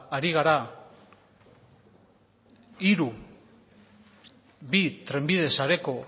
ari gara hiru bi trenbide sareko